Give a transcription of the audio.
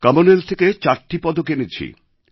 Commonwealth থেকে চারটি পদক এনেছি